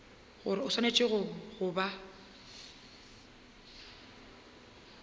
gore o swanetše go ba